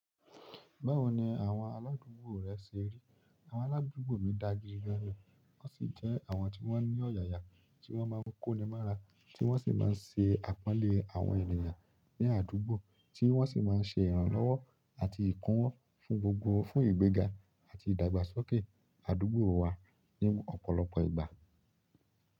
Báwo ni àwọn aládùúgbò rẹ ṣe rí? Àwọn aládùúgbò mi da gidi gan ni, wọn sì jẹ́ àwọn tí wọ́n ní ọ̀yààyà, tí wọ́n máa ń kó'ni mọ́ra, tí wọ́n sì máa ń ṣe àpọ́nlé àwọn ènìyàn ní àdúgbò, tí wọ́n sì máa ń ṣe ìrànlọ́wọ́ àti ìkún-wọ́ fún gbogbo fún ìgbéga àti ìdàgbàsókè àdúgbò wa ní ọ̀pọ̀lọpọ̀ ìgbà.